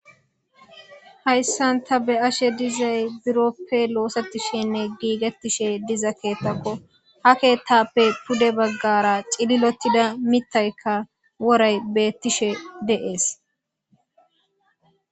Haysan ta beyashe dizay. Biroppe osetishenme Gigetishe diza keethako ha keethape pude bagara c'ililetida mitayka woray betishe de'es.